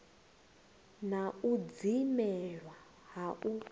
na u dzimelwa ha u